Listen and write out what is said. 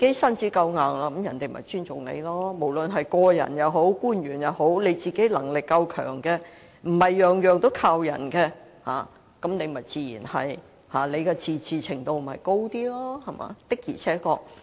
身子夠硬，自會受別人尊重。無論是個人也好，官員也好，只要自己的能力夠強，無須事事依靠別人，本身的自治程度便會較高。